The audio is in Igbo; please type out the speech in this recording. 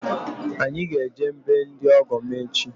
Anyị ga-eje be ndị ọgọ m echi